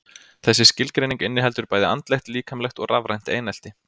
Þessi skilgreining inniheldur bæði andlegt, líkamlegt og rafrænt einelti.